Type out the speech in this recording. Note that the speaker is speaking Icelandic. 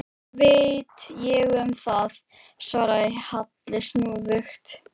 Hvað veit ég um það? svaraði Halli snúðugt.